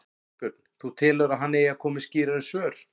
Þorbjörn: Þú telur að hann eigi að koma með skýrari svör?